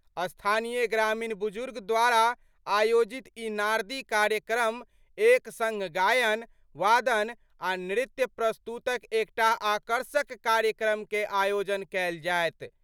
स्थानीय ग्रामीण बुजुर्ग द्वारा आयोजित ई नारदी कार्यक्रम एक संग गायन, वादन आ नृत्य प्रस्तुत क एकटा आकर्षक कार्यक्रम कए आयोजन कयल जायत।